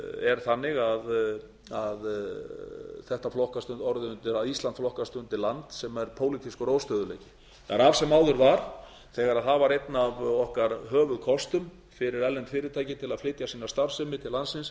er þannig að ísland flokkast undir land sem er pólitískur óstöðugleiki það er af sem áður var þegar það var einn af okkar höfuðkostum fyrir erlend fyrirtæki til að flytja sína starfsemi til landsins